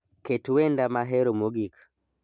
Ket wenda mahero mogik